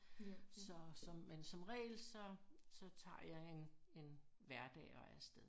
Så som men som regel så så tager jeg en en hverdag og er afsted